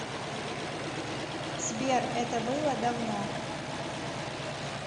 сбер это было давно